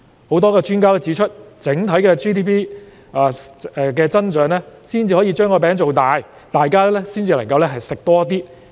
許多專家均指出，整體 GDP 有所增長才可以把"餅"造大，大家方能多吃一點。